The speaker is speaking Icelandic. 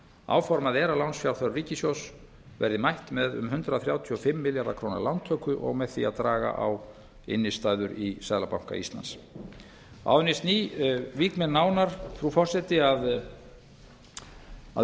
áformað er að lánsfjárþörf ríkissjóðs verði mætt með um hundrað þrjátíu og fimm milljarða króna lántöku og með því að draga á innstæður í seðlabanka íslands áður en ég vík nánar frú forseti að